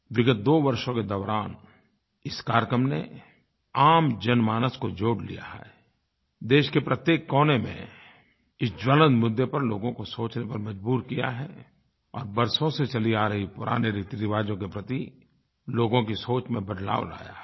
विगत दो वर्षों के दौरान इस कार्यक्रम ने आम जनमानस को जोड़ लिया है देश के प्रत्येक कोने में इस ज्वलंत मुद्दे पर लोगों को सोचने पर मजबूर किया है और बरसों से चले आ रहे पुराने रीतिरिवाज़ों के प्रति लोगों की सोच में बदलाव लाया है